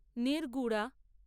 নির্গুড়া